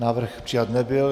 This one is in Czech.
Návrh přijat nebyl.